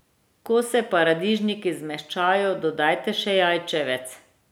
Ko se paradižniki zmehčajo, dodajte še jajčevec.